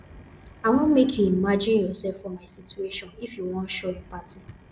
i wan make you imagine yoursef for my situation if you wan show empathy